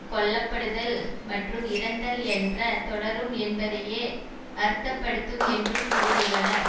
கொல்லப்படுதல் மற்றும் இறந்தல் என்பது தொடரும் என்பதையே அர்த்தப்படுத்தும் என்று கூறியுள்ளார்